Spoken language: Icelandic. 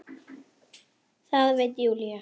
Það veit Júlía.